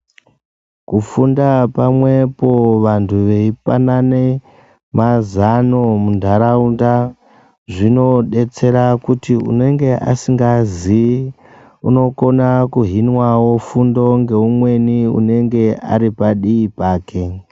Kufunda pamwepo vantu veipanane mazano muntaraunda zvinobetsera kuti anenga asikaziyi anokone kuhinwawo fundo neumweni anonga aripadii pake